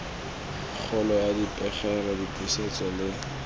kgolo ya dipegelo dipusetso le